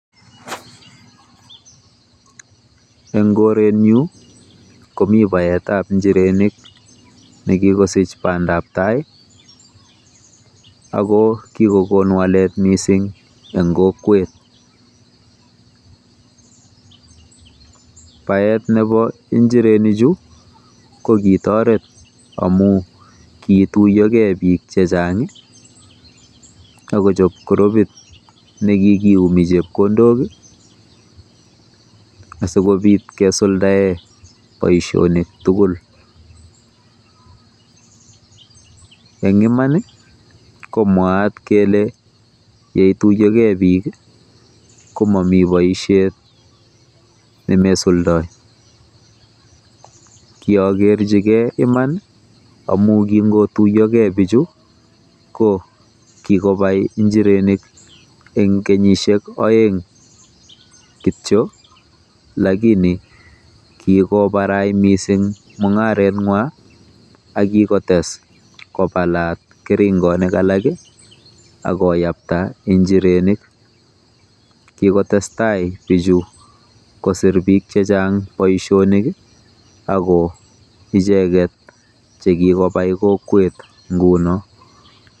Eng koretnyu komi baetab njirenik nekikosich bandabtai ako kikokon mising walet eng kokwet. Baet nebo injirenichu ko kitoret omu kiituiyokei bik chechang akochob kurupit nekikiumi chepkondok asikobit kesuldae boisionik tugul. Eng iman ko mwaat kole yeituiyokei bik ko mami boisiet nemesuldoi. Kiagerchigei iman amu kingotuiyokei bichu ko kikopai njirenik eng kenyisiek oeng kityo lakini kikobarai mising mung'aretng'wa akikotes kopalat keringonik alak akoyapta injirenik. Kikotestai bichu kosir biik chechang boisionik ako icheket chekikobai kokwet nguno.